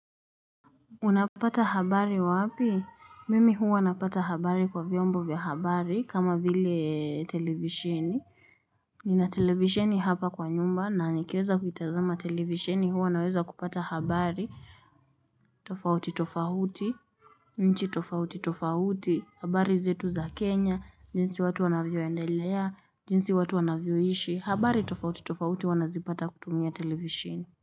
Unapata habari wapi? Mimi huwa napata habari kwa vyombo vya habari kama vile televishini. Nina televishini hapa kwa nyumba na nikieza kuitazama televishini huwa naweza kupata habari tofauti tofauti, nchi tofauti tofauti, habari zetu za Kenya, jinsi watu wanavyoendelea, jinsi watu wanavyoishi, habari tofauti tofauti huwa nazipata kutumia televishini.